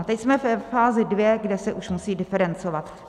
A teď jsme ve fázi dvě, kde se už musí diferencovat.